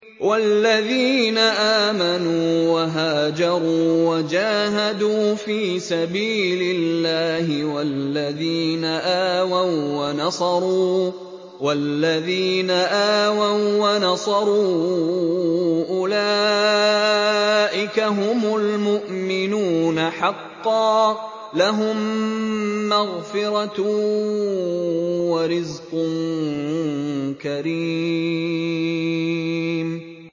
وَالَّذِينَ آمَنُوا وَهَاجَرُوا وَجَاهَدُوا فِي سَبِيلِ اللَّهِ وَالَّذِينَ آوَوا وَّنَصَرُوا أُولَٰئِكَ هُمُ الْمُؤْمِنُونَ حَقًّا ۚ لَّهُم مَّغْفِرَةٌ وَرِزْقٌ كَرِيمٌ